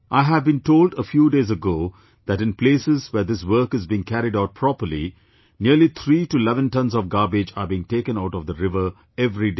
I have been told a few days ago that in places where this work is being carried out properly nearly 3 to 11 tonnes of garbage are being taken out of the river every day